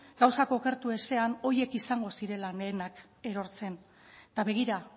gauzak okertu ezean horiek izango zirela lehenak erortzen eta begira